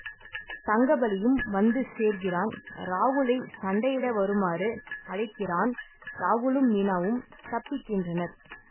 தங்கபலியும் வந்துசேர்கிறான் ராகுலை சண்டையிட வருமாறு அழைக்கிறான் ராகுலும் மீனாவும் தப்பிக்கின்றனர்